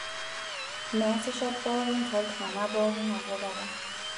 Meesisho pookin tooltung'ana pookin nabokata.